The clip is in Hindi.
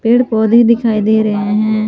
पेड़ पौधे दिखाई दे रहे हैं।